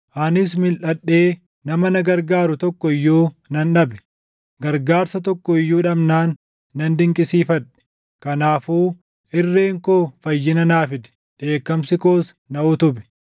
Anis milʼadhee nama na gargaaru tokko iyyuu nan dhabe; gargaarsa tokko iyyuu dhabnaan nan dinqisiifadhe; kanaafuu irreen koo fayyina naa fide; dheekkamsi koos na utube.